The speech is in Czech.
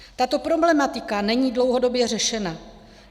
Tato problematika není dlouhodobě řešena.